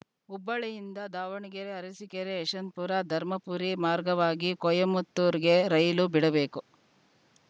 ಹುಬ್ಬಳ್ಳಿಯಿಂದ ದಾವಣಗೆರೆಅರಸೀಕೆರೆಯಶವಂತಪುರಧರ್ಮಪುರಿ ಮಾರ್ಗವಾಗಿ ಕೊಯಮತ್ತೂರುಗೆ ರೈಲು ಬಿಡಬೇಕು